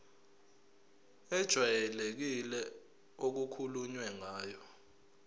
ejwayelekile okukhulunywe ngayo